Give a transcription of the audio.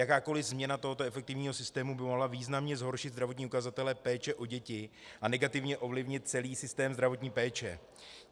Jakákoli změna tohoto efektivního systému by mohla významně zhoršit zdravotní ukazatele péče o děti a negativně ovlivnit celý systém zdravotní péče.